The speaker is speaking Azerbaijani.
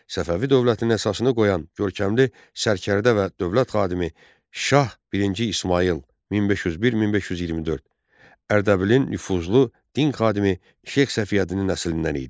Səfəvi dövlətinin əsasını qoyan görkəmli sərkərdə və dövlət xadimi Şah birinci İsmayıl, 1501-1524, Ərdəbilin nüfuzlu din xadimi Şeyx Səfiyəddinin nəslindən idi.